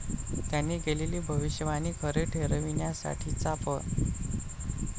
त्यांनी केलेली भविष्यवाणी खरी ठरविण्यासाठीचा प.